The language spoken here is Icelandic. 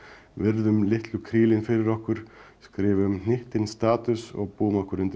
virðum litlum krílin fyrir okkur skrifum hnyttinn status og búum okkur undir að